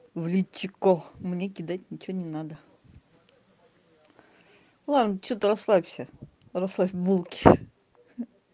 в личико мне кидать ничего не надо ладно что ты расслабься расслабь булки ха-ха